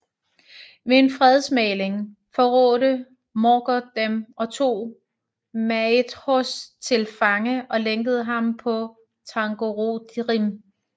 Ved en fredsmægling forrådte Morgoth dem og tog Maedhros til fange og lænkede ham på Thangorodrim